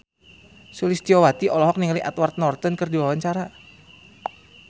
Sulistyowati olohok ningali Edward Norton keur diwawancara